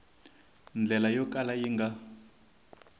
ndlela yo kala yi nga